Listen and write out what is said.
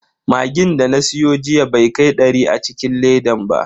Magin da na siyo jiya bai kai dari a cikin ledan ba.